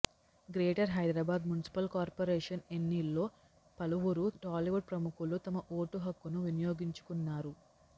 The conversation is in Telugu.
గ్రేటర్ హైదరాబాద్ మున్సిపల్ కార్పోరేషన్ ఎన్నిల్లో పలువురు టాలీవుడ్ ప్రముఖులు తమ ఓటు హక్కును వినియోగించుకున్నారు